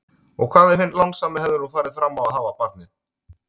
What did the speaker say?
Og hvað ef hinn lánsami hefði nú farið fram á að hafa barnið?